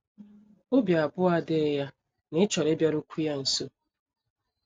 Obi abụọ adịghị ya na ị chọrọ ịbịarukwu ya nso.